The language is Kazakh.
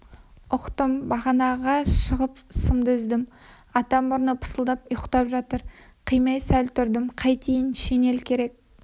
ұқтым бағанаға шығып сымды үздім ата мұрны пысылдап ұйықтап жатыр қимай сәл тұрдым қайтейін шинель керек